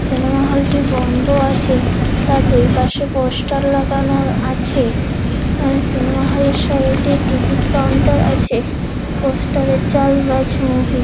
Cinema হলটি বন্ধ আছে তা দুই পাশে পোস্টার লাগানো আছে আআ সিনেমা হলে সাইডে টিকিট কাউন্টার আছে পোস্টারে চালবাজ মুভি ।